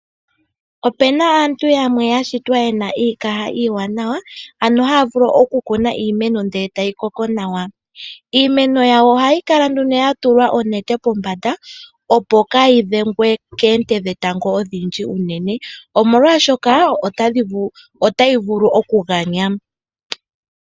Ope na aantu yamwe ya shitwa ye na iikaha iiwanawa ano haya vulu okukuna iimeno, ndele e tayi koko nawa. Iimeno yawo ohayi kala nduno ya tulwa oonete pombanda, opo kaa yi dhengwe koonte dhetango odhindji unene, omolwashoka otayi vulu okuganya.